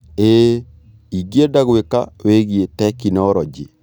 ĩĩ, ingĩenda gwĩka wĩgie tekinoronjĩ.